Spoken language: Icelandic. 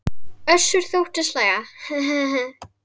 Össur þóttist hlæja: Ha ha.